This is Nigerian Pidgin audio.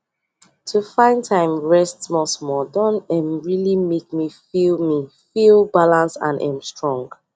to find time rest smallsmall don um really make me feel me feel balanced and um strong